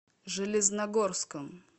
железногорском